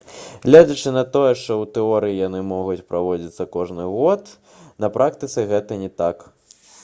нягледзячы на тое што ў тэорыі яны могуць праводзіцца кожны год пры ўмове што месцам правядзення з'яўляюцца розныя краіны на практыцы гэта не так